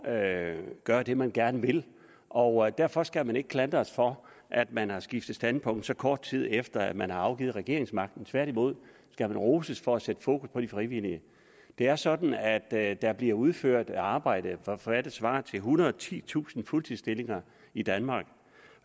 at gøre det man gerne vil og derfor skal man ikke klandres for at man har skiftet standpunkt så kort tid efter at man har afgivet regeringsmagten tværtimod skal man roses for at sætte fokus på de frivillige det er sådan at at der bliver udført et arbejde for hvad der svarer til ethundrede og titusind fuldtidsstillinger i danmark